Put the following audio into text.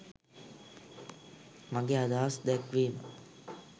මගේ අදහස් දැක්වීම